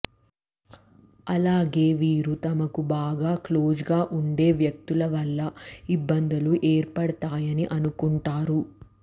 అలాగే వీరు తమకు బాగా క్లోజ్ గా ఉండే వ్యక్తుల వల్ల ఇబ్బందులు ఏర్పడతాయని అనుకుంటారు